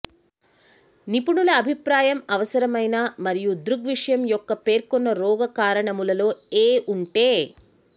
నిపుణుల అభిప్రాయం అవసరమైన మరియు దృగ్విషయం యొక్క పేర్కొన్న రోగ కారణములలో ఏ ఉంటే